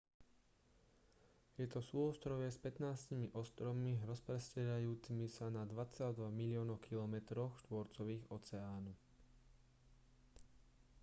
je to súostrovie s 15 ostrovmi rozprestierajúcimi sa na 2,2 miliónoch kilometroch štvorcových oceánu